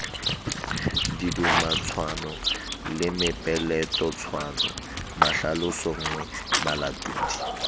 didumatshwano le mepeletotshwano mahlalosonngwe malatodi